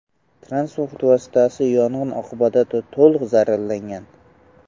Transport vositasi yong‘in oqibatida to‘liq zararlangan.